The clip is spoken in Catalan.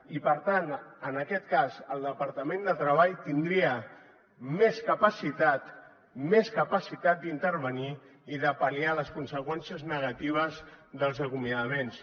i per tant en aquest cas el departament de treball tindria més capacitat més capacitat d’intervenir i de pal·liar les conseqüències negatives dels acomiadaments